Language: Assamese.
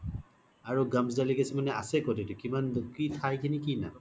আৰু delicacy মানে আছে ক্'ত এইতো কি থাই খিনিৰ কি নাম